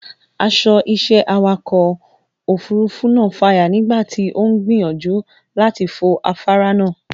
Aṣọ iṣẹ́ awakọ̀ òfurufú náà fàya nígbà tí ó ń gbìyànjú láti fo afáárá náà.